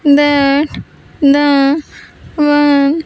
That the one.